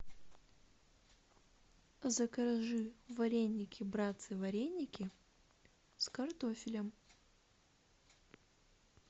закажи вареники братцы вареники с картофелем